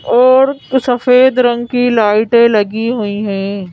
और सफेद रंग की लाइटें लगी हुई है।